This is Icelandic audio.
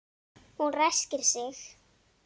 Hún ræskir sig.